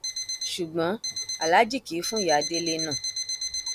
ṣùgbọn aláàjì kì í fún ìyá délé náà